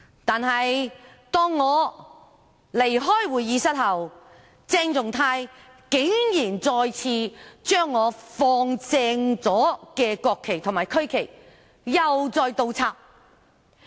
但是，當我離開會議廳後，鄭松泰議員竟然再次將我放正了的國旗及區旗倒轉擺放。